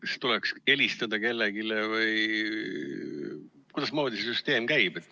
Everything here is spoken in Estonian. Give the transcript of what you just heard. Kas siis tuleks helistada kellelegi või kuidasmoodi see süsteem käib?